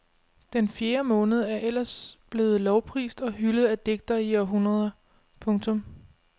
Den fjerde måned er ellers blevet lovprist og hyldet af digtere i århundreder. punktum